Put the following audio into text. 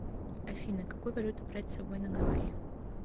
афина какую валюту брать с собой на гавайи